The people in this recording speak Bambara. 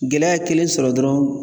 Gɛlɛya ye kelen sɔrɔ dɔrɔnw.